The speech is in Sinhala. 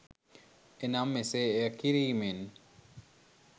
එනම් එසේ එය කිරීමෙන්